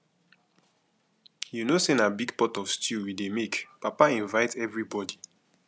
you no say na big pot of stew we dey make papa invite everybody